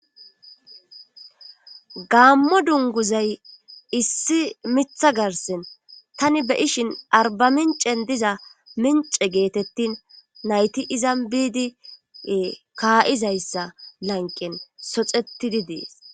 Gaammo dunguzay issi miiththa garsen tani be'ishshin arba mincen diza mince geetettin nayti izan biidie kaa'izayssa lanqen soxetidi dees